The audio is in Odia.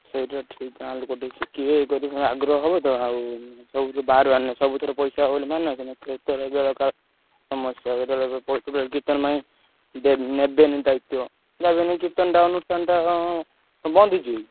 ସେଇଟା ଠିକ୍ ଗାଁ ଲୋକ ସବୁ ଶିଖିବେ ଏ କରିବେ ତାଙ୍କର ଆଗ୍ରହ ହବ ତ ଆଉ ସବୁଥିରେ ପଇସା ହବ ବୋଲି ମାନେ ଅଛି କେଟବେଳେ ବେଳକାଳ ସମସ୍ଯା କୀର୍ତ୍ତନ ପାଇଁ ନେବେଣୀ ଦାଇତ୍ଵ ନାଗରକୀର୍ତ୍ତନ ଅନୁଷ୍ଠାନ ଟା ବନ୍ଦ ହେଇଯିବ କି।